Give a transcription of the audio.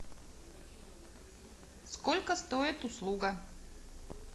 сколько стоит услуга